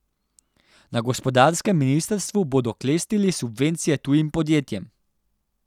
Na gospodarskem ministrstvu bodo klestili subvencije tujim podjetjem.